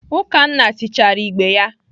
Ukanna tichaara igbe ya.